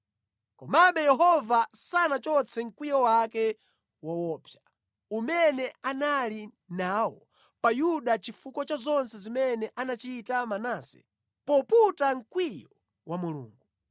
Komabe Yehova sanachotse mkwiyo wake woopsa, umene anali nawo pa Yuda chifukwa cha zonse zimene anachita Manase poputa mkwiyo wa Mulungu.